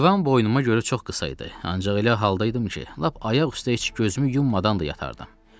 Divan boynuma görə çox qısa idi, ancaq elə halda idim ki, lap ayaq üstə heç gözümü yummadan da yatardım.